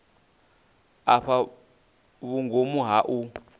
u fhaa vhungomu ha u